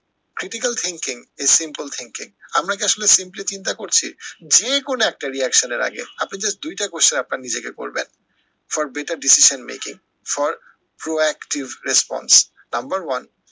critical thinking is simple thinking আমরা কি আসলে simply চিন্তা করছি? যে কোনো একটা reaction এর আগে আপনি just দুইটা question আপনার নিজেকে করবেন for better decision making for proactive response number one